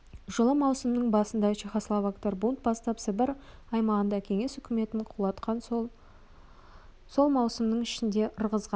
жылы маусымның басында чехословактар бунт бастап сібір аймағында кеңес үкіметін құлатқан соң сол маусымның ішінде ырғызға